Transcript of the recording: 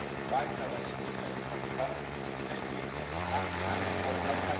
Auch das weitere Entwickeln von Pflanzenschutztechnik haben Sie angesprochen.